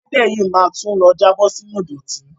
Ẹlẹ́dẹ̀ yìí ma tún lọ jábọ̀ sínú ìdọ̀tí.